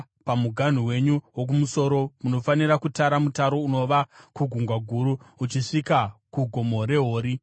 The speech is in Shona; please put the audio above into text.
Pamuganhu wenyu wokumusoro, munofanira kutara mutaro unobva kuGungwa Guru uchisvika kuGomo reHori